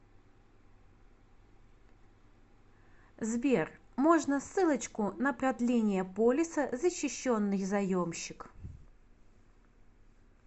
сбер можно ссылочку на продление полиса защищенный заемщик